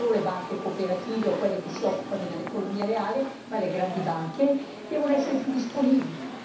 Non devono essere solo le banche cooperative o quelle che si occupano dell'economia reale ma anche le grandi banche devono essere più disponibili.